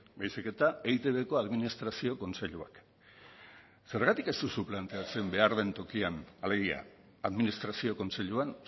baizik eta eitbko administrazio kontseiluak zergatik ez duzu planteatzen behar den tokian alegia administrazio kontseiluan